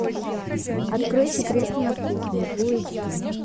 открой секреты на кухне фулл эйч ди